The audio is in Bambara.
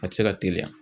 A tɛ se ka teliya